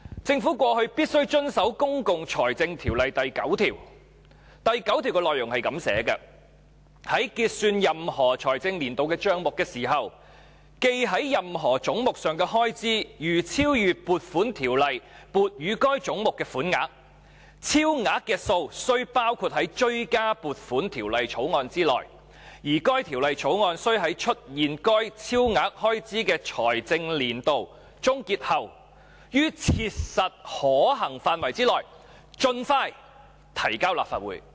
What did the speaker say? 政府過去必須遵守《公共財政條例》第9條，第9條的內容如下："在結算任何財政年度的帳目時，記在任何總目上的開支如超逾撥款條例撥予該總目的款額，超額之數須包括在追加撥款條例草案內，而該條例草案須在出現該超額開支的財政年度終結後，於切實可行範圍內盡快提交立法會。